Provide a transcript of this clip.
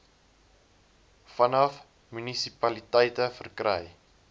vanaf munisipaliteite verkry